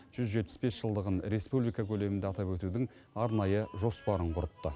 жүз жетпіс бес жылдығын республика көлемінде атап өтудің арнайы жоспарын құрыпты